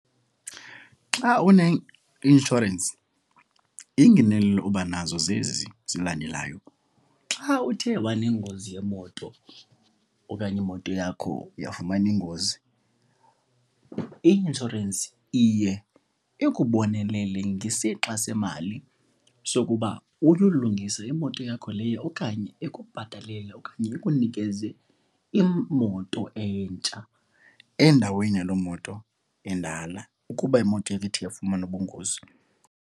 Xa uneinshorensi iingenelelo uba nazo zezi zilandelayo. Xa uthe wanengozi yemoto okanye imoto yakho yafumana ingozi, i-inshorensi iye ikubonelele ngesixa semali sokuba uyolungise imoto yakho leyo okanye ikubhatalele. Okanye ikunikeze imoto entsha endaweni yaloo moto endala ukuba imoto ithe yafumana ubungozi.